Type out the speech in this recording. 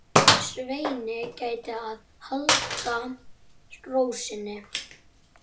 Svenni gætir þess að halda ró sinni.